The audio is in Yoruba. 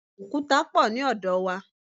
Òkúta pọ̀ ní ọ̀dọ̀ wa.